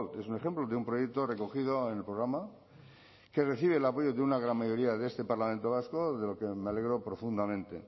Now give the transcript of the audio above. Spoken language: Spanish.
es un ejemplo de un proyecto recogido en el programa que recibe el apoyo de una gran mayoría de este parlamento vasco de lo que me alegro profundamente